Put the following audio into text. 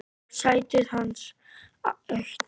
Sætið hans autt.